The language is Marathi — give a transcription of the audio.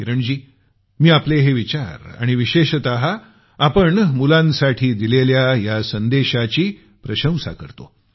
किरणजी मी आपले हे विचार आणि विशेषतः आपल्या मुलांसाठी दिलेल्या या संदेशाची प्रशंसा करतो